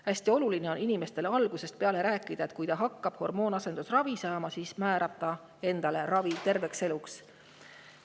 Hästi oluline on inimestele algusest peale rääkida, et kui ta hakkab hormoonasendusravi saama, siis määrab ta endale ravi terveks eluks.